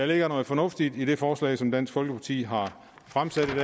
der noget fornuft i det forslag som dansk folkeparti har fremsat i